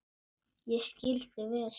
Ég skil þig vel.